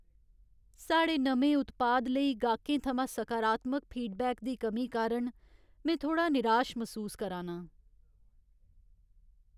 साढ़े नमें उत्पाद लेई गाह्कें थमां सकारात्मक फीडबैक दी कमी कारण में थोह्ड़ा निराश मसूस करा नां।